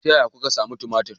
Ta yaya kuka sami tumatir?